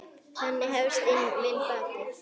Þannig hefst minn bati.